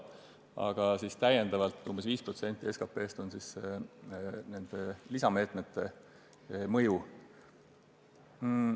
Aga täiendavalt umbes 5% SKP-st on nende lisameetmete mõju.